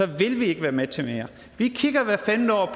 vil vi ikke være med til mere vi kigger hvert femte år